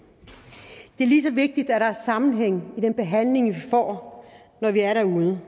det er lige så vigtigt at der er en sammenhæng i den behandling vi får når vi er derude